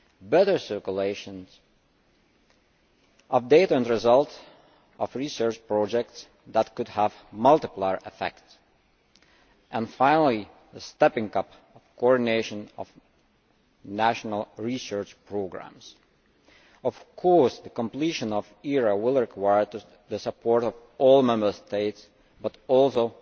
better circulation of data and results of research projects that could have multiplier effects and, finally, the stepping up of coordination of national research programmes Of course, the completion of ERA will require the support of all the Member States, and